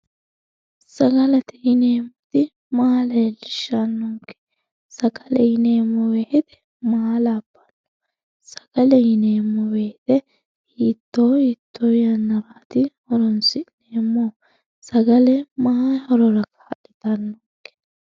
Sagalete yineemmoti maa leellishanonke sagale yineemmo woyte maa labbano sagale fiidhe hiitto hiitto yannarati horonsi'neemmohu ,sagale maayi horora kaa'littanonke ?